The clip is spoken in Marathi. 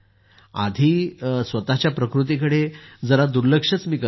आधी मी स्वतःच्या प्रकृतीकडे फार दुर्लक्ष करत असे